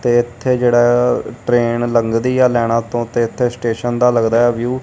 ਤੇ ਇਥੇ ਜਿਹੜਾ ਟਰੇਨ ਲੰਘਦੀ ਆ ਲਾਈਨਾਂ ਤੋਂ ਤੇ ਇਥੇ ਸਟੇਸ਼ਨ ਦਾ ਲੱਗਦਾ ਏ ਵਿਊ ।